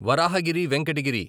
Varahagiri Venkata Giri